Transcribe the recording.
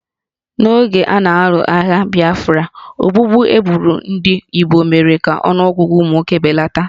N'oge a na-alụ agha Biafra, ogbugbu e gburu ndị Igbo mere ka ọnụọgụgụ ụmụ nwoke belata